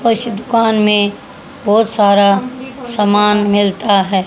उस दुकान में बहुत सारा सामान मिलता है।